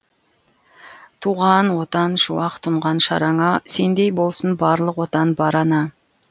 туған отан шуақ тұнған шараңа сендей болсын барлық отан бар ана